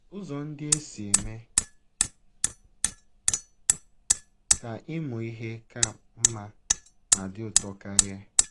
Ụzọ Ndị E Si Eme Ka Ịmụ Ihe Ka Mma Ma Dị Ụtọ Karịa